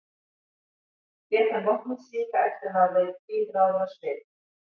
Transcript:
lét hann vopnið síga eftir að hafa verið tvílráður á svip